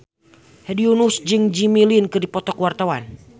Hedi Yunus jeung Jimmy Lin keur dipoto ku wartawan